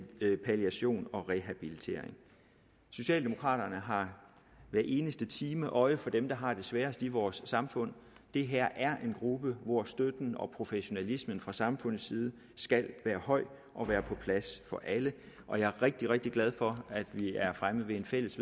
palliation og rehabilitering socialdemokraterne har hver eneste time øje for dem der har det sværest i vores samfund det her er en gruppe hvor støtten og professionalismen fra samfundets side skal være høj og være på plads for alle og jeg er rigtig rigtig glad for at vi er fremme ved en fælles